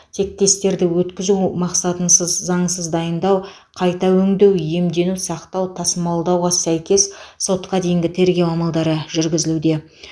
тектестерді өткізу мақсатынсыз заңсыз дайындау қайта өңдеу иемдену сақтау тасымалдауға сәйкес сотқа дейінгі тергеу амалдары жүргізілуде